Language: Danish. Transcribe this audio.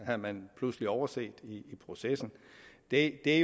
havde man pludselig overset i processen det er